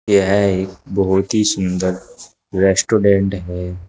यह एक बहुत ही सुंदर रेस्टोरेंट है।